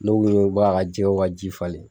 Ne u ye b'a ka jɛɛw ka ji falen